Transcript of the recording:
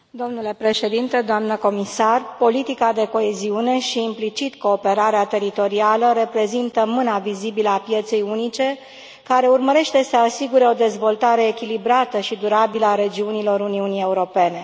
Domnule Președinte, doamnă comisar, politica de coeziune și, implicit, cooperarea teritorială reprezintă mâna vizibilă a pieței unice, care urmărește să asigure o dezvoltare echilibrată și durabilă a regiunilor Uniunii Europene.